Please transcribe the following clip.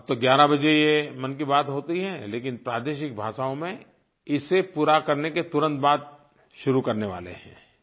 अब तो 11 बजे ये मन की बात होती है लेकिन प्रादेशिक भाषाओं में इसे पूरा करने के तुरंत बाद शुरू करने वाले हैं